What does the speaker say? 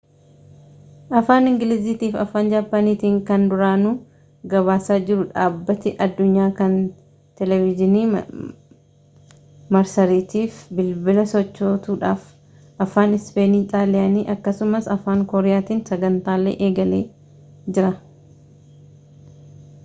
afaan ingiliziitiifi afaan jaappaaniitiin kan duraanuu gabaasaa jiru dhaabbati addunyaa kun teeleviizhiinii marsariitii fi bilbila sochootuudhaaf afaan ispeenii xaaliyaanii akkasumas afaan kooriyaatiin sagantaalee eegalee jira